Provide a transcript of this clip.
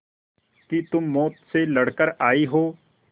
कि तुम मौत से लड़कर आयी हो